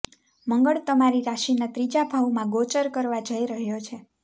મંગળ તમારી રાશિના ત્રીજા ભાવમાં ગોચર કરવા જોઈ રહ્યો છે